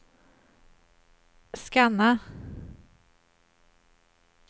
scanna